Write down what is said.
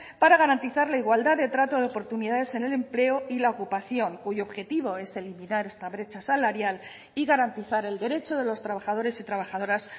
para garantizar la igualdad de trato de oportunidades en el empleo y la ocupación cuyo objetivo es eliminar esta brecha salarial y garantizar el derecho de los trabajadores y trabajadoras